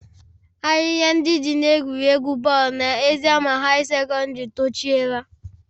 Ahịhịa ndị dị n'egwuregwu bọọlụ na eziama high secondary tochiela